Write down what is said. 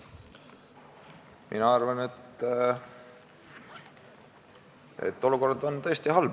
Mina arvan, et olukord on tõesti halb.